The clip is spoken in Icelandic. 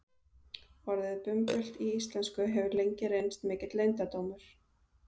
orðið bumbult í íslensku hefur lengi reynst mikill leyndardómur